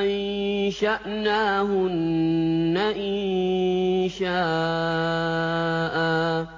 أَنشَأْنَاهُنَّ إِنشَاءً